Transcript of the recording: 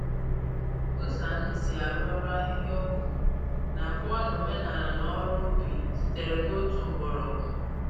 Ụzọ anyị si arụ ọrụ ahihia-ọgwụ na-akọwa na omenala na ọrụ ubi sitere n’otu mgbọrọgwụ.